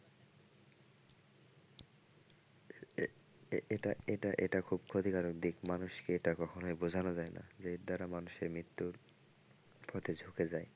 এটা এটা এটা খুব ক্ষতিকারক দিক মানুষকে এটা কখনোই বোঝানো যায় না যে এর দ্বারা মানুষের মৃত্যুর প্রতি ঝুকে যায়।